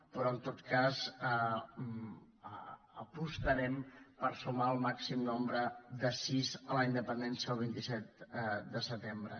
però en tot cas apostarem per sumar el màxim nombre de sís a la independència el vint set de setembre